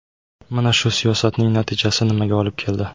Mana shu siyosatning natijasi nimaga olib keldi?